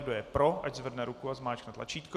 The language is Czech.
Kdo je pro, ať zvedne ruku a zmáčkne tlačítko.